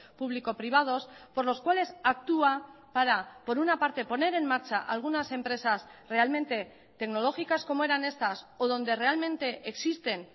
público privados por los cuales actúa para por una parte poner en marcha algunas empresas realmente tecnológicas como eran estas o donde realmente existen